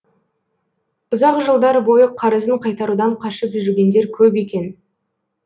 ұзақ жылдар бойы қарызын қайтарудан қашып жүргендер көп екен